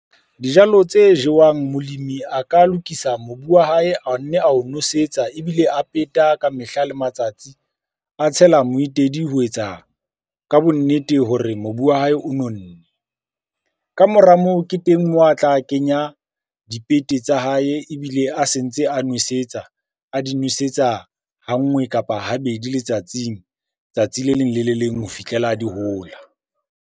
Dijalo tse jewang molemi a ka lokisa mobu wa hae, a nne ao nosetsa ebile a peta ka mehla le matsatsi. A tshela moetedi ho etsa ka bonnete hore mobu wa hae o nonnne. Ka mora moo ke teng moo a tla kenya dipete tsa hae ebile a se ntse a nwesetsa. A di nwesetsa ha nngwe, kapa habedi letsatsing. Tsatsi le leng le le leng ho fihlela di hola.